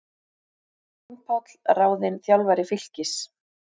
Jón Páll ráðinn þjálfari Fylkis